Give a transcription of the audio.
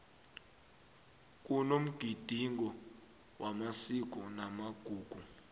kunomgidingo wamasiko namagugu